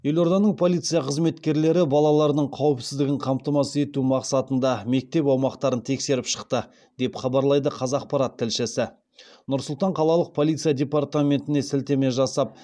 елорданың полиция қызметкерлері балалардың қауіпсіздігін қамтамасыз ету мақсатында мектеп аумақтарын тексеріп шықты деп хабарлайды қазақпарат тілшісі нұр сұлтан қалалық полиция департаментіне сілтеме жасап